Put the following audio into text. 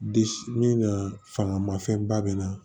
De min na fanga ma fɛnba bɛ na